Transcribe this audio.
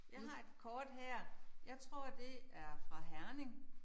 Jeg har et kort her. Jeg tror det er fra Herning